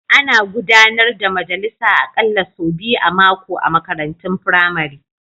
Ana gudanar da majalisa aƙalla sau biyu a mako a makarantun firamare.